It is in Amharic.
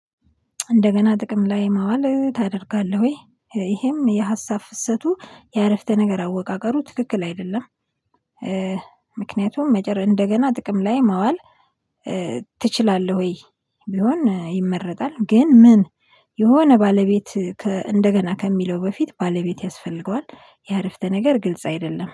እንደገና ጥቅም ላይ ማዋል ታደርጋለህ ወይ ይሄም የሀሳብ ፍሰቱ የአረፍተ ነገር አወቃቀሩ ትክክል አይደለም። ምክንያቱም መጀመሪ እንደገና ጥቅም ላይ ማዋል ትችላለህ ወይ ቢሆን ይመረጣል። ግን ምን የሆነ ባለቤት እንደገና ከሚለው በፊት ባለቤት ያስፈልገዋል የአረፍተ ነገር ግልጽ አይደለም